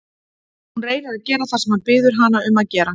Hún reynir að gera það sem hann biður hana að gera.